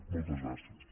moltes gràcies